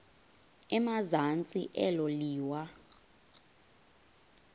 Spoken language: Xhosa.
emazantsi elo liwa